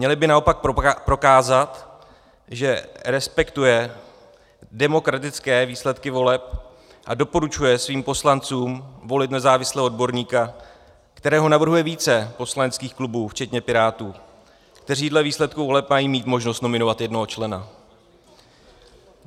Měl by naopak prokázat, že respektuje demokratické výsledky voleb a doporučuje svým poslancům volit nezávislého odborníka, kterého navrhuje více poslaneckých klubů včetně Pirátů, kteří dle výsledků voleb mají mít možnost nominovat jednoho člena.